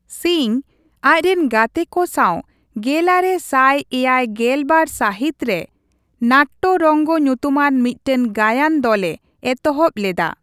ᱥᱤᱝ, ᱟᱡᱨᱮᱱ ᱜᱟᱛᱮ ᱠᱚ ᱥᱟᱶ ᱜᱮᱞᱟᱨᱮ ᱥᱟᱭ ᱮᱭᱟᱭ ᱜᱮᱞ ᱵᱟᱨ ᱥᱟᱹᱦᱤᱛ ᱨᱮ 'ᱱᱟᱴᱴᱚ ᱨᱚᱝᱜᱚ' ᱧᱩᱛᱩᱢᱟᱱ ᱢᱤᱫᱴᱟᱝ ᱜᱟᱭᱟᱱ ᱫᱚᱞᱮ ᱮᱛᱚᱦᱚᱵ ᱞᱮᱫᱟ ᱾